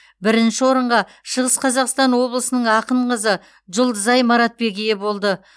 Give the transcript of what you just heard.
бірінші орынға шығыс қазақстан облысының ақын қызы жұлдызай маратбек ие болды